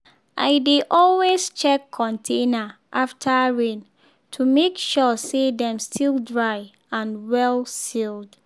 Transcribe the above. i dey always check container after rain to make sure say dem still dry and well sealed.